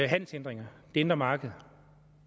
handelshindringer det indre marked